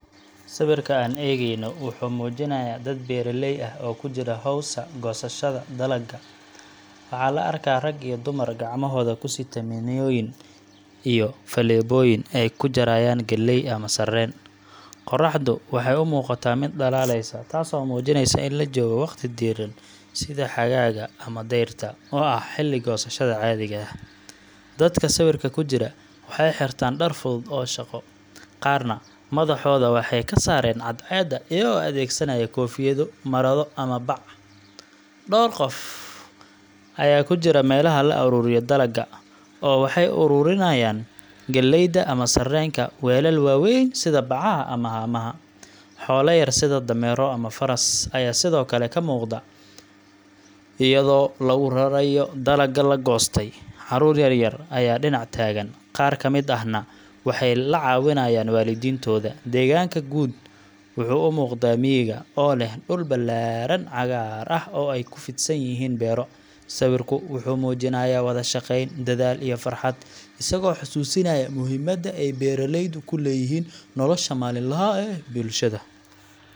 Sawirka aan eegayno wuxuu muujinayaa dad beeraley ah oo ku jira hawsha goosashada dalagga. Waxaa la arkaa rag iyo dumar gacmahooda ku sita minooyin iyo faleebooyin ay ku jarayaan galley ama sarreen. Qorraxdu waxay u muuqataa mid dhalaalaysa, taasoo muujinaysa in la joogo waqti diiran sida xagaaga ama dayrta, oo ah xilli goosashada caadiga ah. Dadka sawirka ku jira waxay xirtaan dhar fudud oo shaqo, qaarna madaxooda waxay ka saareen cadceeda iyagoo adeegsanaya koofiyado, marado ama bac. Dhowr qof ayaa ku jira meelaha la ururiyo dalagga, oo waxay u raranayaan galleyda ama sarreenka weelal waaweyn sida bacaha ama haamaha. Xoolo yar sida dameero ama faras ayaa sidoo kale ka muuqda, iyadoo lagu rarayo dalagga la goostay. Carruur yar yar ayaa dhinac taagan, qaar ka mid ahna waxay la caawinayaan waalidiintood. Deegaanka guud wuxuu u muuqdaa miyiga, oo leh dhul ballaaran, cagaar ah oo ay ku fidsan yihiin beero. Sawirku wuxuu muujinayaa wada-shaqayn, dadaal iyo farxad, isagoo xasuusinaya muhiimadda ay beeralaydu ku leeyihiin nolosha maalinlaha ah ee bulshada.